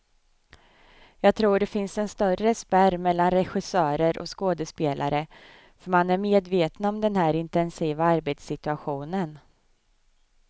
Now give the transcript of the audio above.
Jag tror det finns en större spärr mellan regissörer och skådespelare, för man är medvetna om den här intensiva arbetssituationen.